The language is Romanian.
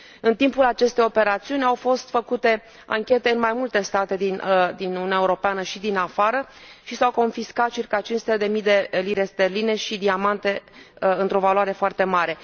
În timpul acestor operațiuni au fost făcute anchete în mai multe state din Uniunea Europeană și din afară și s au confiscat circa 500 mii de lire sterline și diamante într o valoare foarte mare.